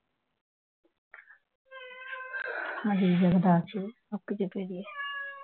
আজ এই জায়গাটা আছে আর সবকিছু পেরিয়ে